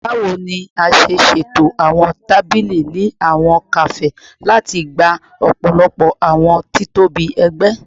Bawo ni a ṣe ṣeto awọn tabili ni awọn kafe lati gba ọpọlọpọ awọn titobi ẹgbẹ?